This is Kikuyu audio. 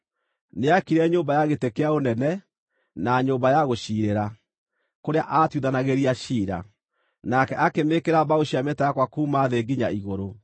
Nĩaakire nyũmba ya gĩtĩ kĩa ũnene, na Nyũmba ya Gũciirĩra, kũrĩa aatuithanagĩria ciira. Nake akĩmĩĩkĩra mbaũ cia mĩtarakwa kuuma thĩ nginya igũrũ.